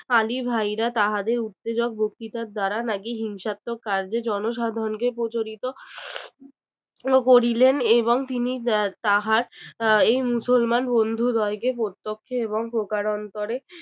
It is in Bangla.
আলি ভাইরা তাহাদের উত্তেজক বক্তৃতা দ্বারা নাকি হিংসাত্মক কাজে জনসাধারণকে প্রচলিত করিলেন এবং তিনি তাহার এই মুসলমান বন্ধুদ্বয়কে প্রত্যক্ষ এবং প্রকারান্তরে